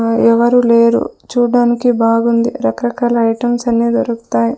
ఆ ఎవరు లేరు చూడ్డానికి బాగుంది రకరకాల ఐటమ్స్ అన్ని దొరుకుతాయ్.